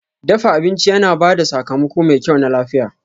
Dafa abinci yana ba da sakamako mai kyau na lafiya.